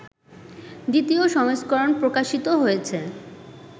২য় সংস্করণ প্রকাশিত হয়েছে